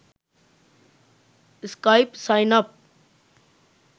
skype sign up